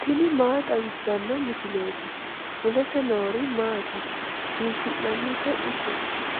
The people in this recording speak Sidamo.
tini maa xawissanno misileeti ? mulese noori maati ? hiissinannite ise ?